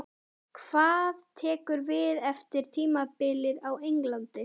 Hvað tekur við eftir tímabilið á Englandi?